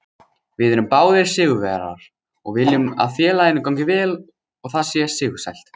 Við erum báðir sigurvegarar og viljum að félaginu gangi vel og það sé sigursælt.